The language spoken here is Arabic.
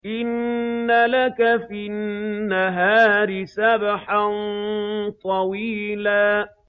إِنَّ لَكَ فِي النَّهَارِ سَبْحًا طَوِيلًا